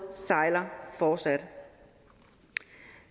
sejler fortsat